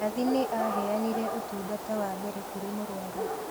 Nathi nĩ aheanire ũtũngata wa mbere kũrĩ mũrwaru